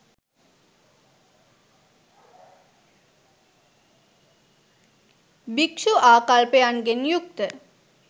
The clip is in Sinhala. භික්ෂූ ආකල්පයන්ගෙන් යුක්ත